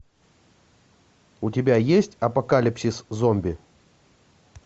у тебя есть апокалипсис зомби